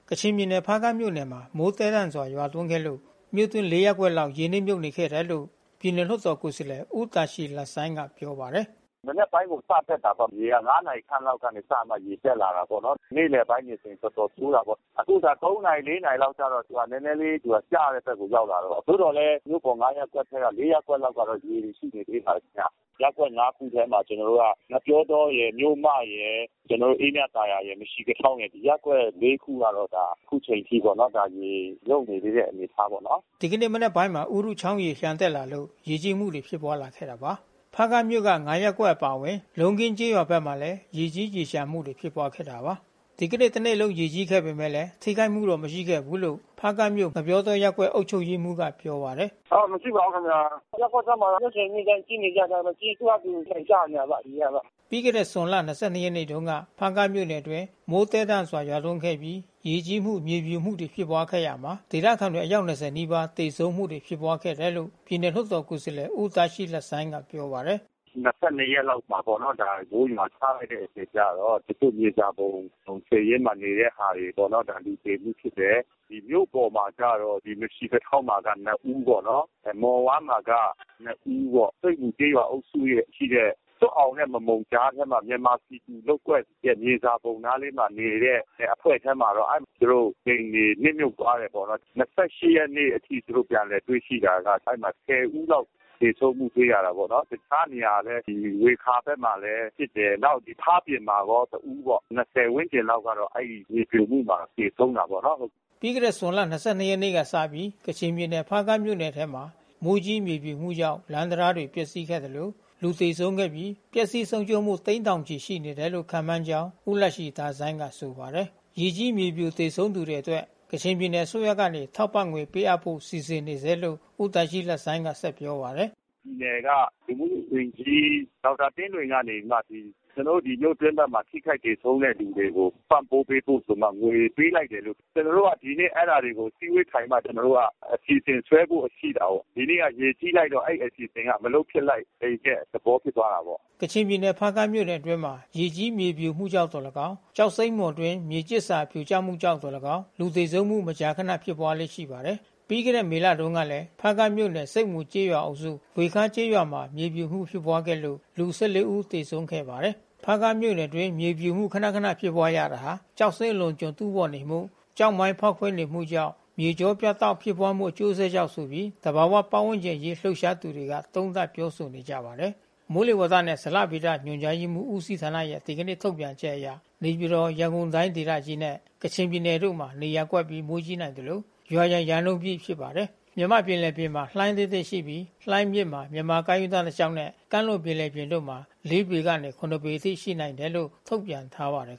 ကချင်ပြည်နယ် ဖားကန့်မြို့နယ်မှာ မိုးသည်းထန်စွာ ရွာသွန်းခဲ့လို့ လေးရပ်ကွက် ရေနစ်မြှုပ်နေခဲ့တယ်လို့ ပြည်နယ် လွှတ်တော်ကိုယ်စားလှယ် ဦးဒါရှီးလဆိုင်းကပြောပါတယ်။ ဓမနက်ပိုင်းကိုစတက်တာပေါ့။ ရေက နာရီခန့်လောက်က စတက်တာပေါ့နော်။ နေ့လည်ပိုင်းတွေဆိုတော်တော် ဆိုးတာပေါ့။ အခုက နာရီ နာရီကျတော့ နဲနဲလေးသူကကျတဲ့ဘက်ကိုရောက်သွားတော့။ သို့သော်လည်း မြို့ ပေါ် ရပ်ကွက်ထဲက ရပ်ကွက်ကျတော့ ရေတွေရှိနေသေးပါတယ်ခင်ဗျ။ ရပ်ကွက် ခုထဲမှာကျွန်တော်တို့က ငှက်ပျောတောရယ် မြို့မရယ် အေးမြသာယာရယ် မရှီကထောင်ရယ် ရပ်ကွက် ခုကတော့ အခုချိန်ထိပေါ့နော် ရေမြုတ်နေသေးတဲ့အနေအထားပေါ့နော်။ဓ ဒီကနေ့မနက်ပိုင်းမှာ ဥရုချောင်းရေလျံတက်လာလို့ရေကြီးမှုတွေဖြစ်ပွါးခဲ့တာပါ။ ဖါးကန့်မြို့ ရပ်ကွက်အပါအဝင် လုံးခင်းကျေးရွာတွေဘက်မှာလဲရေကြီးရေလျံမှုတွေဖြစ်ပွါးခဲ့တာပါ။ ဒီကနေ့တနေ့လုံးရေကြီးခဲ့ပေမဲ့ ထိခိုက်မှုတော့မရှိခဲ့ဘူးလို့ ဖါးကန့်မြို့ ငှက်ပျောတောရပ်ကွက်အုပ်ချုပ်ရေးမှူးက ပြောပါတယ်။ "မရှိပါဘူးခင်ဗျာ။ ရပ်ကွက်ထဲမှာတော့နှစ်စဉ်နှစ်တိုင်းကြီးနေကြတာဘဲ။ ပြီးရင်သူဟာသူ ပြန်ကျနေတာပေါ့ ရေက တော့။" ပြီးခဲ့တဲ့ဇွန်လ နေ့ကတုန်းက ဖါးကန့်မြို့နယ်အတွင်း မိုးသည်းထန်စွာရွာသွန်းခဲ့ပြီးရေကြီးမှု မြေပြိုမှုတွေဖြစ်ပွါး ခဲ့ရာမှာ ဒေသခံတွေအယောက် နီးပါးသေဆုံးမှုတွေဖြစ်ပွါးခဲ့တယ်လို့ပြည်နယ် လွှတ်တော်ကိုယ်စားလှယ် ဦးဒါရှီးလဆိုင်းကပြောပါတယ်။ နေ့မှာပေါ့နော် မိုးရွာချလိုက်တဲ့အချိန်ကျတော့တချို့မြေစာပုံခြေရင်းမှာနေတဲ့သူတွေ လူသေမှုဖြစ်တယ်။ မြို့ပေါ် မှာကျတော့ ဒီမရှီကထောင်မှာကျတော့ ဦး။ မှော်ဝမ်းမှာကျတော့ ဦးပေါ့။ ဆိတ်မူအုပ်စုရဲ့ရှိတဲ့ စွပ်အောင်နဲ့ မမုန် ကြားထဲမှာ မြန်မာပြည်သူလုပ်ကွက်ရဲ့မြေစာပုံနားလေးမှာ နေတဲ့အဖွဲ့ထဲမှာတော့။ သူတို့အိမ်တွေနစ်မြုတ်သွား တယ် ပေါ့။ ရက်နေ့အထိသူတို့ပြန်လည်တွေ့ရှိတာက အဲဒီမှာ ဦးလောက် သေဆုံးမှုတွေ့ရတာပေါ့နော်။ တခြား နေရာ ဝေခါဘက်မှာလဲဖြစ်တယ်။ နောက်ဒီဖါးပြင်မှာလဲတဦးပေါ့။ ဝန်းကျင်လောက်ကတော့ မြေပြိုမှုမှာသေဆုံး တာပေါ့နော်။" ပြီးခဲ့တဲ့ဇွန်လ ရက်နေ့ကစပြီး ကချင်ပြည်နယ်ဖါးကန့်မြို့နယ်ထဲမှာ မိုးကြီးမြေပြိုမှုကြောင့် လမ်းတံတားတွေ ပျက်စီးခဲ့သလို လူသေဆုံးပြီး ပျက်ဆီးဆုံးရှုံးမှုသိန်းထောင်ချီရှိနေတယ်လို့ခန့်မှန်းကြောင်း ဦးလရှီတာဆိုင်းကဆို ပါတယ်။ ရေကြီးမြေပြိုသေဆုံးသူတွေအတွက် ကချင်ပြည်နယ်အစိုးရကနေ ထောက်ပံ့ငွေပေးအပ်ဖို့စီစဉ်နေဆဲလို့ ဦးဒါရှီးလ ဆိုင်းကပြောပါတယ်။ "ပြည်နယ်ကလူမှုဝန်ကြီး ဒေါက်တာသင်းနွယ်ကနေပြီးမှဒီ ကျွန်တော်တို့ ဒီမြို့တွင်းဘက်မှာထိခိုက်သေဆုံးတဲ့ သူတွေ ကို ပံ့ပိုးပေးဖို့ငွေပေးလိုက်တယ်လို့ ။ ကျွန်တော်တို့ကဒီနေ့အဲတာတွေကိုအစည်းဝေးထိုင်ပြီးတော့မှ အစီစဉ်ဆွဲဖို့ရှိ တာကိုး။ ဒီနေ့ရေကြီးလိုက်တော့ အဲဒီအစီအစဉ်မလုပ်ဖြစ်လိုက်တဲ့ အဲဒီသဘောဖြစ်သွားတာပေါ့။" ကချင်ပြည်နယ် ဖါးကန့်မြို့နယ်အတွင်းမှာ ရေကြီးမြေပြိုမှုကြောင့်သော်၎င်း ကျောက်စိမ်းမှော်အတွင်း မြေကျစ်စာပြို ကျမှုကြောင့်သော်၎င်း လူသေဆုံးမှုမကြာခနဖြစ်ပွါးလေ့ရှိပါတယ်။ ပြီးခဲ့တဲ့မေလတုန်းက ဖါးကန့်မြို့နယ် ဆိတ်မူကျေးရွာအုပ်စု ဝှေခါးကျေးရွာမှာ မြေပြိုမှုဖြစ်ပွါးခဲ့လို့ လူ ဦး သေ ဆုံးခဲ့ရပါတယ်။ ဖါးကန့်မြို့နယ်အတွင်းမြေပြိုမှုခနခနဖြစ်ပွါးရတာဟာ ကျောက်စိမ်းအလွန်အကျွံတူးဖေါ်နေမှု ကျောက်မိုင်းဖေါက်ခွဲ နေမှုကြောင့် မြေကြောပြတ်တောက်မှုဖြစ်ပွါးမှုအကျိုးဆက်ကြောင့်ဆိုပြီး သဘာဝပါတ်ဝန်းကျင် အရေးလှုပ်ရှား သူတွေကသုံးသပ်ပြောဆိုနေကြပါတယ်။ မိုးလေဝါသနဲ့ဇလဗေဒညွှန်ကြားမှုဦးစီးဌာနရဲ့ ဒီကနေ့ထုတ်ပြန်ချက်အရနေပြည်တော်၊ ရန်ကုန်တိုင်းဒေသကြီးနှင့် ကချင်ပြည်နယ်တို့မှာ နေရာကွက်ပြီး မိုးကြီးနိုင်သလို ရွာရန်ရာနှုန်းပြည့် ဖြစ်ပါတယ်။ မြန်မာ့ပင်လယ်ပြင်မှာ လှိုင်းအသင့်အတင့်ရှိပြီး လှိုင်းအမြင့်မှာ မြန်မာ့ကမ်းရိုးတန်း တစ်လျှောက်နှင့် ကမ်းလွန် ပင်လယ်ပြင် တို့မှာ ပေမှ ပေခန့် ရှိနိုင်တယ်လို့ ထုတ်ပြန်ထားပါတယ်